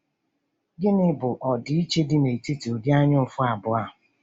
Gịnị bụ ọdịiche dị n’etiti ụdị anyaụfụ abụọ a?